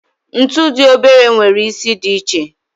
Ntu di obere nwere isi di iche.